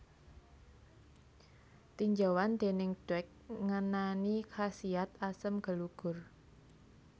Tinjauan déning Dweck ngenani khasiat asem gelugur